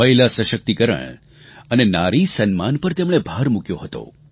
મહિલા સશક્તિકરણ અને નારી સન્માન પર તેમણે ભાર મૂક્યો હતો